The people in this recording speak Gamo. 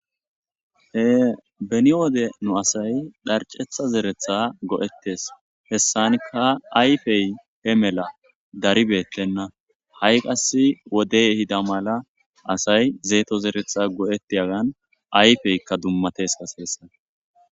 He beni wode nu asay dharcetha zeretha go7ettes hessanikka ayfey he mela daribeettenna ha7i qass wodey hida mala asay zeeto zeretha go7eti agan ayfeykka dummates qaseessa.